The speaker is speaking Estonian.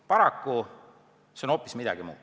Paraku see siin on hoopis midagi muud.